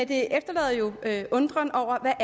det efterlader jo en undren over